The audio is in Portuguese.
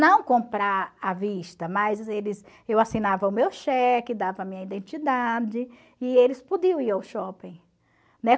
Não comprar à vista, mas eles eu assinava o meu cheque, dava a minha identidade e eles podiam ir ao shopping, né?